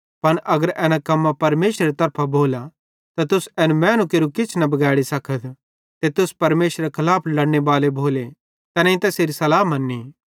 पन अगर एना कम्मां परमेशरेरी तरफां भोलां त तुस एन मैनू केरू किछ न बिगैड़ी सकत ते तुस परमेशरेरे खलाफ लड़ने बाले भोले तैनेईं तैसेरी सल्लाह मन्नी